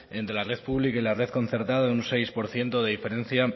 entre la red pública y la red concertada de un seis por ciento de diferencia